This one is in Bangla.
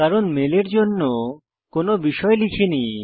কারণ মেলের জন্য কোনো বিষয় লিখিনি